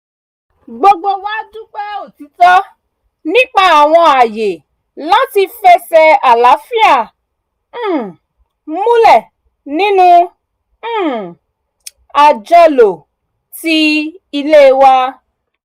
gbogbo wa dúpẹ́ òtìtọ́ nípa àwọn ààyè láti fẹsẹ̀ àlàáfíà um múlẹ̀ nínú um àjọlò ilé wa